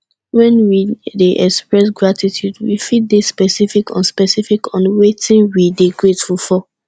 when we dey express gratitude we fit de specific on specific on wetin we de thankful for